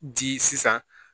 Ji sisan